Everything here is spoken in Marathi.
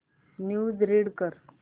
न्यूज रीड कर